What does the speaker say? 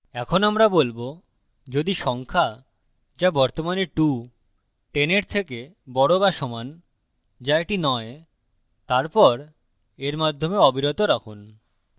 এখন আমরা বলবো যদি সংখ্যা যা বর্তমানে 210 এর থেকে বড় বা সমান যা এটি নয় তারপর এর মাধ্যমে অবিরত রাখুন